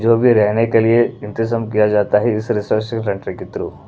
जो भी रहने के लिए इंतजाम किया जाता है इस रिसर्चिव कंट्री के थ्रू --